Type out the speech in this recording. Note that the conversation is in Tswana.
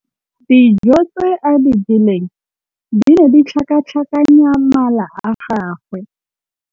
Dijô tse a di jeleng di ne di tlhakatlhakanya mala a gagwe.